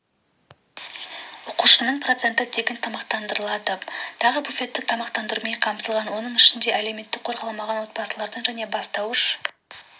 оқушының проценті тегін тамақтандырылады тағы буфеттік тамақтандырумен қамтылған оның ішінде әлеуметтік қорғалмаған отбасылардың және бастауыш